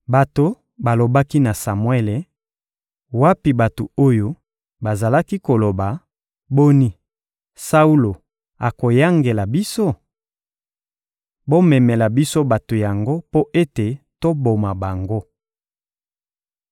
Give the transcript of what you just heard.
Bato balobaki na Samuele: — Wapi bato oyo bazalaki koloba: «Boni, Saulo akoyangela biso?» Bomemela biso bato yango mpo ete toboma bango.